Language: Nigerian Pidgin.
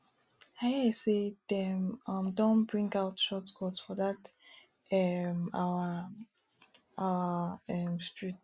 i hear say dey um don bring out short cut for dat um our um street